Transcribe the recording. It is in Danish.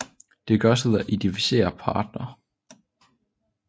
Det gøres ved at identificere parterne